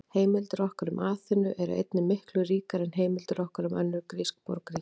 Heimildir okkar um Aþenu eru einnig miklu ríkari en heimildir okkar um önnur grísk borgríki.